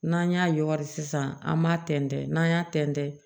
N'an y'a yɔgɔri sisan an b'a tɛntɛn n'an y'a tɛntɛn